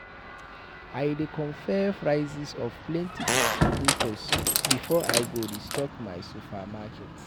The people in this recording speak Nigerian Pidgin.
I dey compare prices of plenty distributors before I go restock my supermarket.